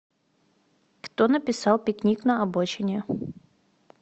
кто написал пикник на обочине